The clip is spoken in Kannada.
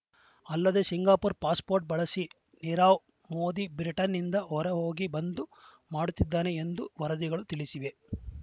ಅಲ್ಲದೇ ಸಿಂಗಾಪುರ ಪಾಸ್‌ಪೋರ್ಟ್‌ ಬಳಸಿ ನೀರವ್‌ ಮೋದಿ ಬ್ರಿಟನ್‌ನಿಂದ ಹೊರಹೋಗಿ ಬಂದು ಮಾಡುತ್ತಿದ್ದಾನೆ ಎಂದು ವರದಿಗಳು ತಿಳಿಸಿವೆ